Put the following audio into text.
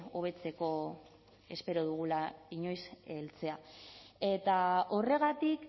hobetzeko espero dugula inoiz heltzea eta horregatik